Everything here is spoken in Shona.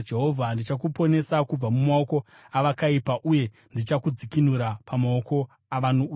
“Ndichakuponesa kubva mumaoko avakaipa uye ndichakudzikinura pamaoko avano utsinye.”